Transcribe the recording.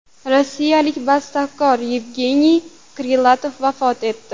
Rossiyalik bastakor Yevgeniy Krilatov vafot etdi.